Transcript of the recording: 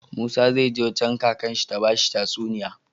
Musa zai je wajan kakar shi ta bashi tatsuniya